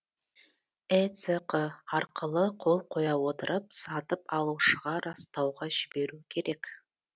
эцқ арқылы қол қоя отырып сатып алушыға растауға жіберу керек